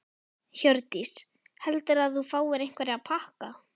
Hjördís: Heldurðu að þú fáir einhverja pakka?